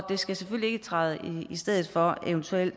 skal selvfølgelig ikke træde i stedet for en eventuel